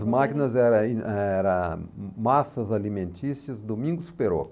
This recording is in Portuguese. As máquinas era era Massas Alimentícias Domingos Perocco.